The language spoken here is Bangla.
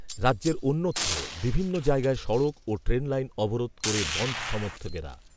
রাজ্যের, অন্যত্র বিভিন্ন জায়গায় সড়ক ও ট্রেন লাইন অবরোধ করেবন‌ধ সমর্থকেরা